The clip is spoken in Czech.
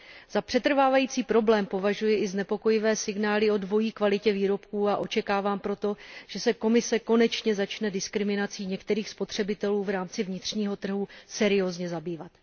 Za přetrvávající problém považuji i znepokojivé signály o dvojí kvalitě výrobků, a očekávám proto, že se Komise konečně začne diskriminací některých spotřebitelů v rámci vnitřního trhu seriózně zabývat.